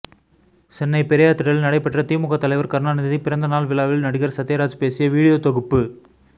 சென்னை பெரியார் திடலில் நடைபெற்ற திமுக தலைவர் கருணாநிதி பிறந்த நாள் விழாவில் நடிகர் சத்யராஜ் பேசிய வீடியோ தொகுப்பு